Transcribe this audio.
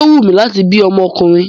Yóó wù mí láti bí ọmọkùnrin.